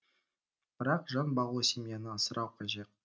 бірақ жан бағу семьяны асырау қажет